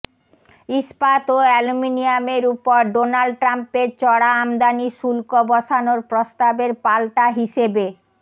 ইস্পাত ও অ্যালুমিনিয়ামের উপর ডোনাল্ড ট্রাম্পের চড়া আমদানি শুল্ক বসানোর প্রস্তাবের পাল্টা হিসেবে